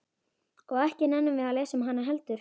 Og ekki nennum við að lesa um hana heldur?